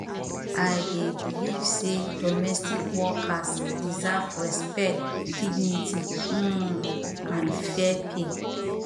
i dey believe say domestic workers deserve respect dignity um and fair pay